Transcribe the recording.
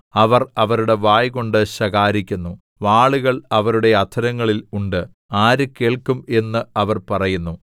അവർ അവരുടെ വായ്കൊണ്ട് ശകാരിക്കുന്നു വാളുകൾ അവരുടെ അധരങ്ങളിൽ ഉണ്ട് ആര് കേൾക്കും എന്ന് അവർ പറയുന്നു